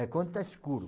É quando está escuro.